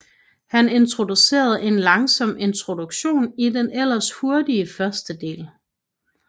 Han introducerede en langsom introduktion i den ellers hurtige førstedel